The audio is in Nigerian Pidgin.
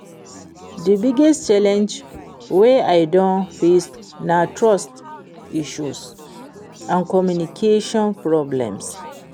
di biggest challenge wey i don face na trust issues and communication problems.